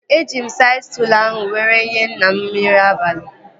Eji m saịd stụlụ ahụ were nyee nna m nri abalị